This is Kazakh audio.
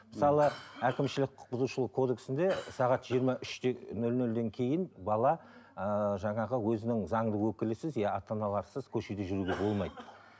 мысалы әкімшілік құқық бұзушылық кодексінде сағат жиырма үште нөл нөлден кейін бала ыыы жаңағы өзінің заңды өкілісіз иә ата аналарсыз көшеде жүруіне болмайды